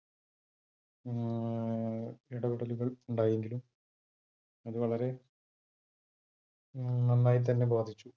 ഇടപെടലുകൾ ഉണ്ടായെങ്കിലും അത് വളരെ നന്നായി തന്നെ ബാധിച്ചു.